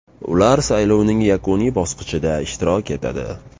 Ular saylovning yakuniy bosqichida ishtirok etadi.